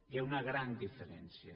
hi ha una gran diferència